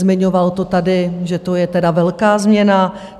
Zmiňoval to tady, že to je tedy velká změna.